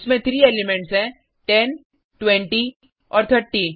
इसमें 3 एलिमेंट्स हैं 10 20 और 30